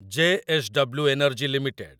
JSW. Energy limited